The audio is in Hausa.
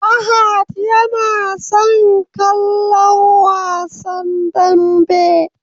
Fahad yana son kallon Wasan Danbe.